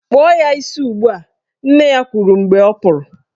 Kpụọ ya isi ugbua! Nne ya kwuru mgbe ọ pụrụ.